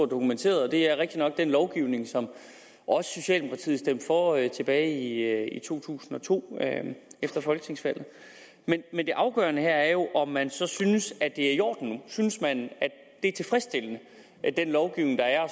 dokumenteret og det er rigtig nok den lovgivning som også socialdemokratiet stemte for tilbage i to tusind og to efter folketingsvalget men det afgørende her er jo om man så synes at det er i orden synes man at den lovgivning der er og